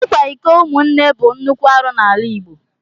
Ikwa iko umunne bụ nnukwu arụ n'ala Igbo.